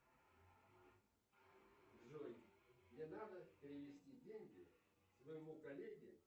джой мне надо перевести деньги своему коллеге